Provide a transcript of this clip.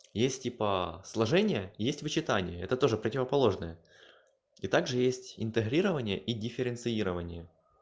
есть типа сложение есть вычитание это тоже противоположное и также есть интегрирование и дифференцирование